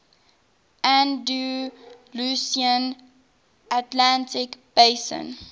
andalusian atlantic basin